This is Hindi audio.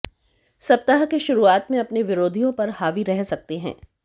सप्ताह के शुरुआत में अपने विरिधियों पर हावी रह सकते हैं